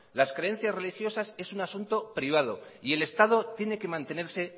las creencias religiosas es un asunto privado y el estado tiene que mantenerse